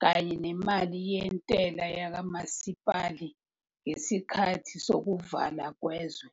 kanye nemali yentela yakamasipala ngesikhathi sokuvalwa kwezwe.